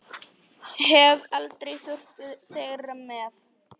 Hef aldrei þurft þeirra með.